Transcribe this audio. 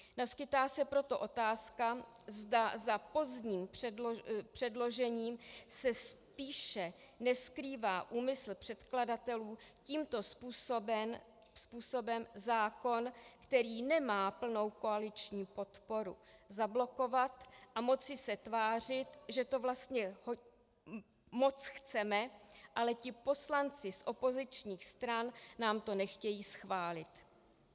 Naskýtá se proto otázka, zda za pozdním předložením se spíše neskrývá úmysl předkladatelů tímto způsobem zákon, který nemá plnou koaliční podporu, zablokovat a moci se tvářit, že to vlastně moc chceme, ale ti poslanci z opozičních stran nám to nechtějí schválit.